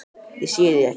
Ég sé þig ekki.